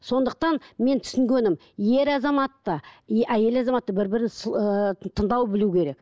сондықтан мен түсінгенім ер азамат та и әйел азамат та бір бірін ыыы тыңдау білу керек